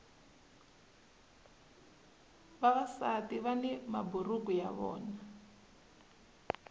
vavasati vani maburuku ya vona